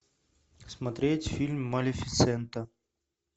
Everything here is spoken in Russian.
смотреть фильм малефисента